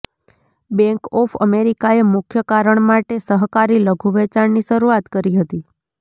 bank of અમેરિકાએ મુખ્ય કારણ માટે સહકારી લઘુ વેચાણની શરૂઆત કરી હતી